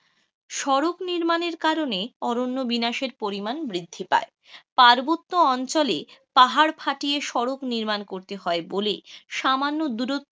সড়ক নির্মানের কারণে অরণ্য বিনাশের পরিমাণ বৃদ্ধি পায়, পার্বত্য অঞ্চলে পাহাড় ফাটিয়ে সড়ক নির্মাণ করতে হয়, বলেই সামান্য দুরত্ব,